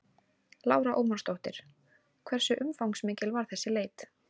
Lára Ómarsdóttir: Hversu umfangsmikil var þessi leit?